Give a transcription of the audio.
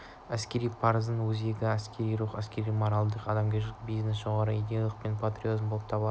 әскери парыздың өзегі әскери рух әскерлердің моральдық-адамгершілік бейнесі жоғары идеялық пен патриотизм болып табылады